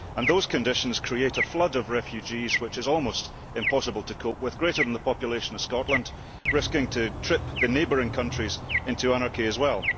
Those conditions have created a flood of refugees which is almost impossible to cope with, greater than the population of Scotland and threatening to trip the neighbouring countries into anarchy as well.